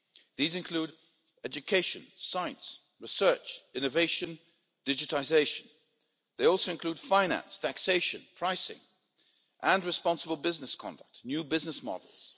These include education, science, research, innovation, digitisation. They also include finance, taxation, pricing and responsible business conduct, new business models.